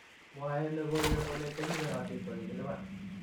Mwae logoiwek kole che kigerotin ko kikiliban .